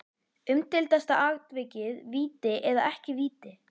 Umdeildasta atvikið Víti eða ekki víti?